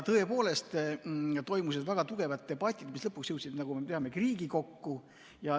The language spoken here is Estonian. Tõepoolest toimusid väga tugevad debatid, mis lõpuks jõudsid, nagu me teame, Riigikokku.